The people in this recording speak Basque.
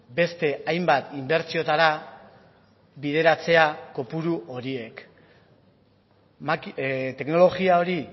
beste hainbat inbertsiotara bideratzea kopuru horiek teknologia hori